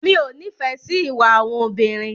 Mi ò nífẹ̀ẹ́ sí ìwà àwọn obìnrin.